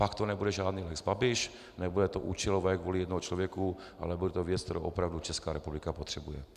Pak to nebude žádný lex Babiš, nebude to účelové kvůli jednomu člověku, ale bude to věc, kterou opravdu Česká republika potřebuje.